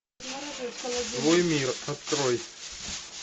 твой мир открой